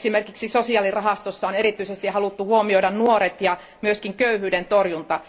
Esimerkiksi sosiaalirahastossa on erityisesti haluttu huomioida nuoret ja myös köyhyyden torjunta.